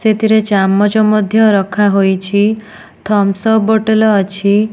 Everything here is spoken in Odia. ସେଥିରେ ଚାମଚ ମଧ୍ୟ ରଖା ହୋଇଛି ଥମସପ୍ ବୋଟଲ ଅଛି।